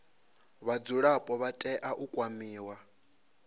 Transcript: vhadzulapo vha tea u kwamiwa